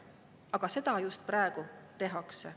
Aga seda just praegu tehakse.